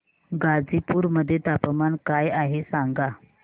गाझीपुर मध्ये तापमान काय आहे सांगा